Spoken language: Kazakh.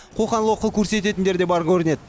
қоқан лоқы көрсететіндер де бар көрінеді